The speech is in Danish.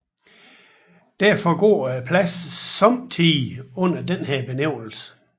Derfor går pladen sommetider under denne benævnelse